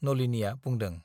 नलिनीया बुंदों।